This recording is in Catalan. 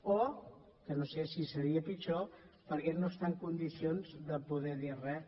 o que no sé si seria pitjor perquè no està en condicions de poder dir res